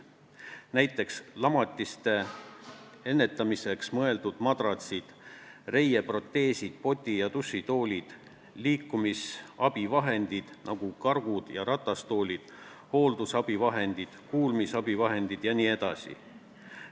Näiteks võib tuua lamatiste ennetamiseks mõeldud madratsid, reieproteesid, poti- ja dušitoolid, liikumisabivahendid, nagu kargud ja ratastoolid, hooldusabivahendid, kuulmisabivahendid jne.